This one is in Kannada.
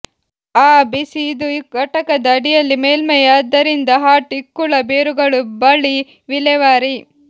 ಆ ಬಿಸಿ ಇದು ಘಟಕದ ಅಡಿಯಲ್ಲಿ ಮೇಲ್ಮೈ ಆದ್ದರಿಂದ ಹಾಟ್ ಇಕ್ಕುಳ ಬೇರುಗಳು ಬಳಿ ವಿಲೇವಾರಿ